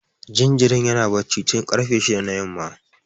Jinjirin yana barci tun karfe shida na yamma